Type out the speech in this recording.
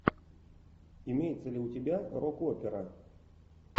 имеется ли у тебя рок опера